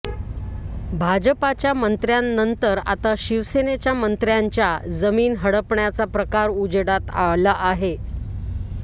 भाजपाच्या मंत्र्यांनंतर आता शिवसेनेच्या मंत्र्यांच्या जमीन हडपण्याचा प्रकार उजेडात आला आहे